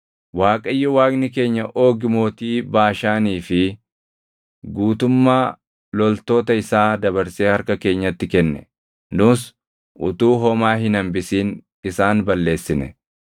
Waaqayyo Waaqni keenya Oogi mootii Baashaanii fi guutummaa loltoota isaa dabarsee harka keenyatti kenne. Nus utuu homaa hin hambisin isaan balleessine.